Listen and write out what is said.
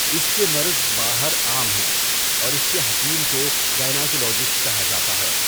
اِس کے مرز باہر عام ہیں اور اِس کے حکیم کو گأناکولوجِسٹ کہا جاتا ہے.